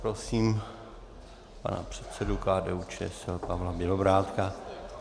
Prosím pana předsedu KDU-ČSL Pavla Bělobrádka.